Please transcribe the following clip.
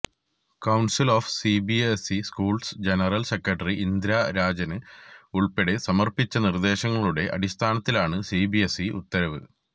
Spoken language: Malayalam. council of CBSE schools general secretary Indira Rajan ഉള്പ്പെടെ സമര്പ്പിച്ച നിര്ദേശങ്ങളുടെ അടിസ്ഥാനത്തിലാണ് സിബിഎസ്ഇ ഉത്തരവ്